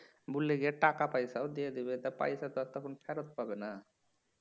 ভুলে গিয়ে টাকা পয়সাও দিয়ে দিবে তা পয়সা তো আর তখন ফেরত পাবেনা